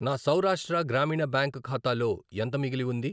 నా సౌరాష్ట్ర గ్రామీణ బ్యాంక్ ఖాతాలో ఎంత మిగిలి ఉంది?